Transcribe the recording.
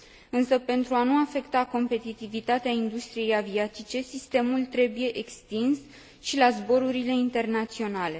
Însă, pentru a nu afecta competitivitatea industriei aviatice, sistemul trebuie extins și la zborurile internaționale.